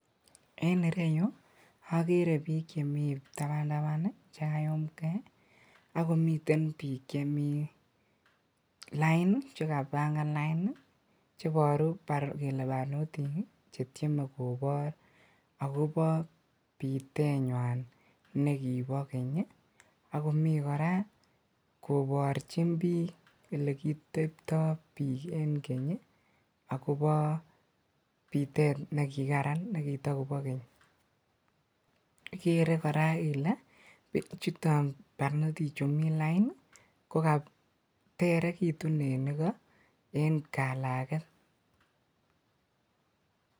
En ireyuu okeree biik chemi tabantaban chekayumng'ee akomiten biik chemi lain chekabang'an lain cheboru kelee barnotik chetieme kobor akobo biteenywan nekibo keny, akomii kora koborchin biik elekiitebto biik en keny akobo biteet nekikaran nekitokobo keny, ikeree kora ilee bichuton barnotichu mii lain ko katerekitun en ikoo en kalaket.